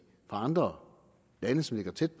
andre lande som ligger tæt